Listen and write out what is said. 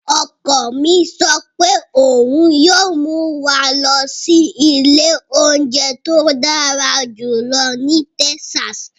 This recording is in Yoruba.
Ọkọ mi sọ pé òun yíó mú wa lọ sí ilé óúnjẹ tó dára jùlọ ní Texas.